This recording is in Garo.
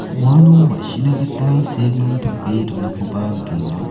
uano ma·sina gita seeming tape donakoba nikenga.